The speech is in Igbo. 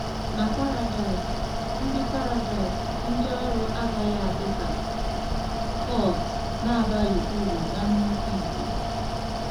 Na Paradaịs, ndị Paradaịs, ndị ọrụ agaghị adị ka cogs na-abaghị uru na nnukwu igwe.